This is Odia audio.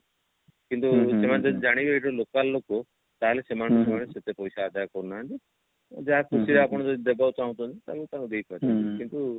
କିନ୍ତୁ ସେମାନେ ଯଦି ଜାଣିବେ ଏ ସବୁ local ଲୋକ ତାହେଲେ ସେମାନେ ସେମାନଙ୍କ ଠୁ ସେତେ ପଇସା ଆଦାୟ କରୁ ନାହାନ୍ତି ଯାହା ଖୁସିରେ ଯଦି ଆପଣ ଦେବାକୁ ଚାହୁଞ୍ଚନ୍ତି ତାହେଲେ ଆପଣ ଦେଇ ପାରିବେ କିନ୍ତୁ